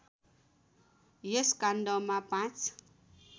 यस काण्डमा ५